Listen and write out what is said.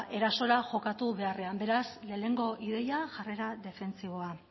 erasora jokatu beharrean beraz lehenengo ideia jarrera defentsiboa